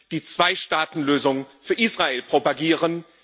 die Zweistaatenlösung für Israel propagieren.